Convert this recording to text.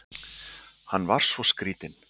Hann var svo skrýtinn.